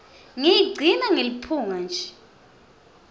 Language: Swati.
ngiyigcina ngeliphunga nje